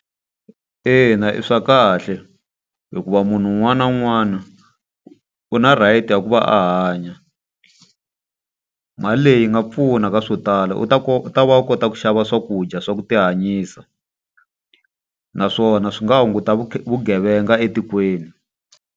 Ina i swa kahle, hikuva munhu un'wana na un'wana u na right ya ku va a hanya. Mali leyi yi nga pfuna ka swo tala. U ta u ta va u kota ku xava swakudya swa ku ti hanyisa. Naswona swi nga hunguta vugevenga etikweni.